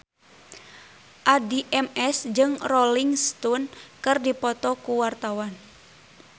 Addie MS jeung Rolling Stone keur dipoto ku wartawan